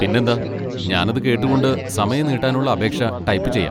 പിന്നെന്താ, ഞാനത് കേട്ടുകൊണ്ട് സമയം നീട്ടാനുള്ള അപേക്ഷ ടൈപ്പ് ചെയ്യാം.